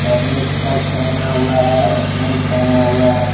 अदमी शर्ट पहना हुआ है और पैंट पहना हुआ है।